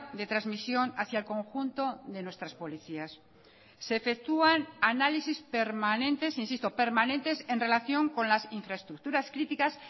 de transmisión hacia el conjunto de nuestras policías se efectúan análisis permanentes insisto permanentes en relación con las infraestructuras críticas